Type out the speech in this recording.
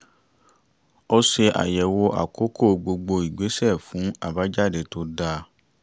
ó ṣe àyẹ̀wò àkókò gbogbo ìgbésẹ́ fún àbájáde tó dáa